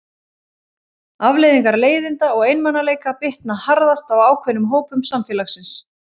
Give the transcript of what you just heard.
Afleiðingar leiðinda og einmanaleika bitna harðast á ákveðnum hópum samfélagsins.